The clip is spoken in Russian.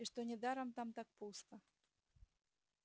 и что недаром там так пусто